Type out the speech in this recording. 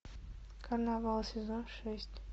карнавал сезон шесть